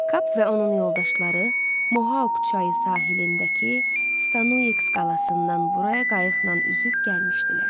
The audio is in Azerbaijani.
Kap və onun yoldaşları Mohauk çayı sahilindəki Stanuix qalasından buraya qayıqla üzüb gəlmişdilər.